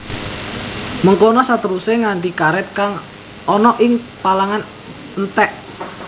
Mengkono saterusé nganti karèt kang ana ing palangan entèk